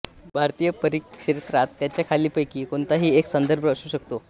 भारतीय परिप्रेक्षात त्याचा खालीलपैकी कोणताही एक संदर्भ असू शकतो